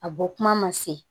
A bɔ kuma ma se